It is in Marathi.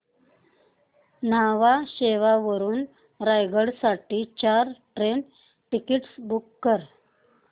न्हावा शेवा वरून रायगड साठी चार ट्रेन टिकीट्स बुक कर